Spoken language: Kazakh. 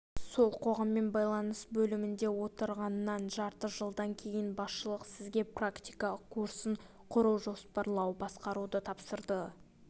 сол қоғаммен байланыс бөлімінде отырғаннан жарты жылдан кейін басшылық сізге практика курсын құру жоспарлау басқаруды тапсырды